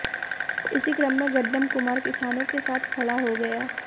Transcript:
इसी क्रम में गड्डम कुमार किसानों के साथ खड़ा हो गया